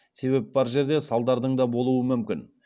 себеп бар жерде салдардың да болуы мүмкін